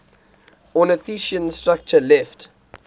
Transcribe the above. ornithischian structure left